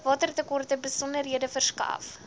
watertekorte besonderhede verskaf